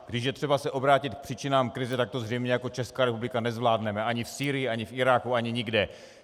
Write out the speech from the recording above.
Když je třeba se obrátit k příčinám krize, tak to zřejmě jako Česká republika nezvládneme ani v Sýrii, ani v Iráku, ani nikde.